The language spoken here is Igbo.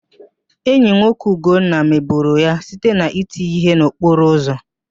Enyi nwoke ụgonna mebọrọ ya site n'iti ya íhé n'okporo ụzọ